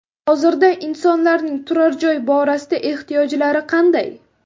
Hozirda insonlarning turar joy borasida ehtiyojlari qanday?